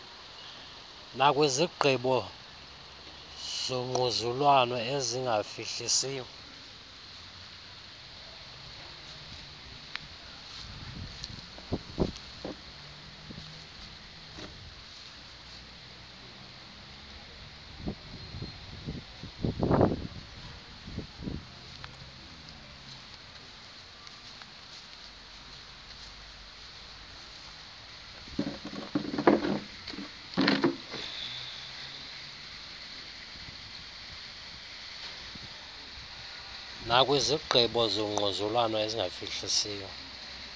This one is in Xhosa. nakwizigqibo zongquzulwano ezingafihlisiyo